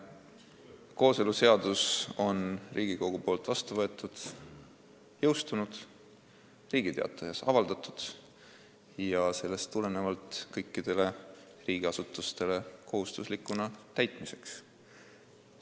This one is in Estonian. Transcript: Kooseluseadus on Riigikogu poolt vastu võetud, see on jõustunud ja Riigi Teatajas avaldatud ning sellest tulenevalt on see kõikidele riigiasutustele täitmiseks kohustuslik.